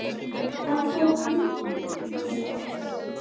Hann fór ungur til sjós.